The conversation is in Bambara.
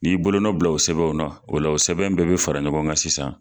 N'i bolonɔ bila u sɛbɛnw na u la u sɛbɛn bɛɛ bɛ fara ɲɔgɔn kan sisan.